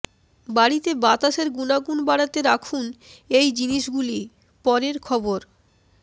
বাড়িতে বাতাসের গুণাগুণ বাড়াতে রাখুন এই জিনিসগুলি পরের খবর